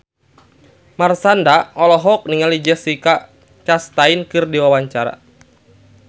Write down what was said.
Marshanda olohok ningali Jessica Chastain keur diwawancara